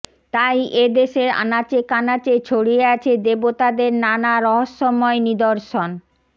তাই এদেশের আনাচে কানাচে ছড়িয়ে আছে দেবতাদের নানা রহস্যময় নিদর্শন